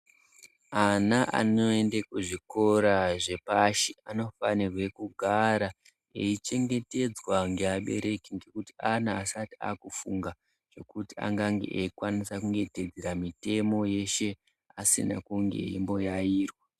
Ana anoende kuzvikora zvepashi anofanirwe kugara eichengetedzwa ngeabereki, ngekuti ana asati aakufunga ngekuti angange eikwanisa kunge eiteedzera mitemo yeshe, asina kunge eimboyayirwa